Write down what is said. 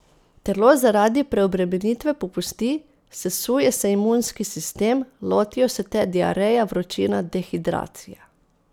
Telo zaradi preobremenitve popusti, sesuje se imunski sistem, lotijo se te diareja, vročina, dehidracija.